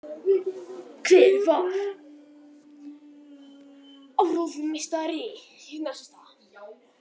Hver var áróðursmeistari Nasista?